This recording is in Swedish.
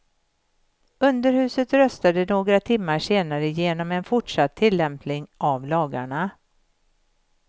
Underhuset röstade några timmar senare igenom en fortsatt tillämpning av lagarna.